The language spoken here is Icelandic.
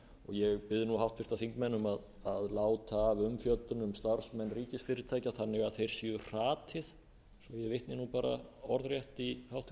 ég bið nú háttvirtir þingmenn um að láta af umfjöllun um starfsmenn ríkisfyrirtækja þannig að þeir séu hratið svo að ég vitni bara orðrétt í